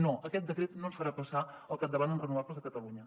no aquest decret no ens farà passar al capdavant en renovables a catalunya